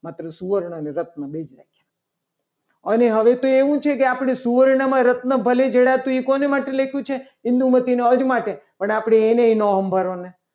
માત્ર સુવર્ણ અને રત્નો બે જ રાખ્યા. પણ હવે તું સુવર્ણની રચનામાં જડી નાખ્યા. પણ હવે તું સૂવાનું શેના માટે લખ્યું છે. અને આપણે એને પણ નહીં સંભાલોને